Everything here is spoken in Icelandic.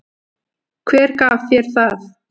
Hver gaf þér það?